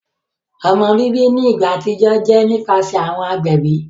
Ọmọ bibi ni igba atijọ jẹ nipasẹ awọn agbẹbi.